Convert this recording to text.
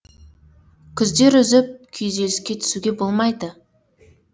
күдер үзіп күйзеліске түсуге болмайды